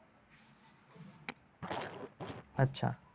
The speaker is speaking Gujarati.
અચ્છા.